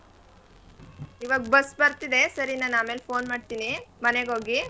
ಇವಾಗ್ bus ಬರ್ತಿದೆ ಸರಿ ನಾನ್ ಆಮೇಲ್ phone ಮಾಡ್ತೀನಿ ಮನೇಗ್ ಹೋಗಿ.